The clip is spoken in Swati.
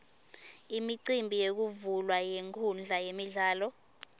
imicimbi yekuvulwa kwenkhundla yemidlalo